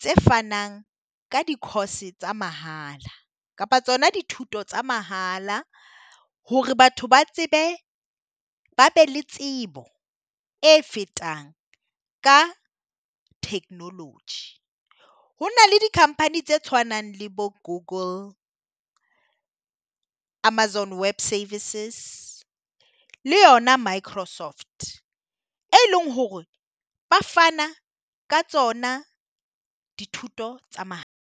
tse fanang ka di course-e tsa mahala kapa tsona dithuto tsa mahala. Hore batho ba tsebe ba be le tsebo e fetang ka technology. Hona le di company tse tshwanang le bo Google, Amazon Web Services le yona Microsoft, e e leng hore ba fana ka tsona dithuto tsa .